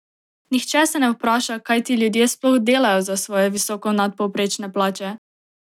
Nihče se ne vpraša, kaj ti ljudje sploh delajo za svoje visoko nadpovprečne plače!